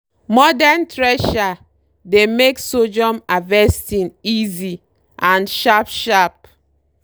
modern thresher dey make sorghum harvesting easy and sharp-sharp.